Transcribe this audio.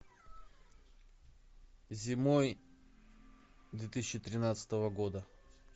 зимой две тысячи тринадцатого года